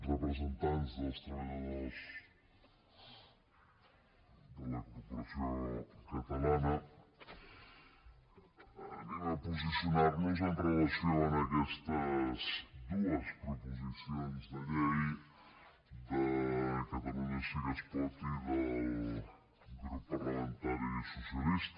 representants dels treballadors de la corporació catalana anem a posicionar nos amb relació a aquestes dues proposicions de llei de catalunya sí que es pot i del grup parlamentari socialista